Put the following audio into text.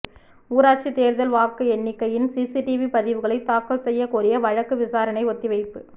ஊராட்சித் தோ்தல் வாக்கு எண்ணிக்கையின் சிசிடிவி பதிவுகளை தாக்கல் செய்யக் கோரிய வழக்கு விசாரணை ஒத்திவைப்பு